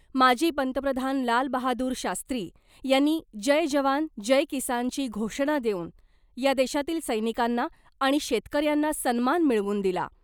माजी पंतप्रधान लालबहादूर शास्त्री यांनी ' जय जवान , जय किसान'ची घोषणा देऊन या देशातील सैनिकांना आणि शेतकऱ्यांना सन्मान मिळवून दिला .